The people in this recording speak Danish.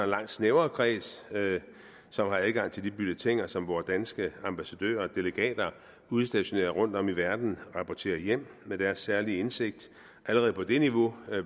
langt snævrere kreds som har adgang til de bulletiner som vore danske ambassadører og delegater udstationeret rundtom i verden rapporterer hjem med deres særlige indsigt allerede på det niveau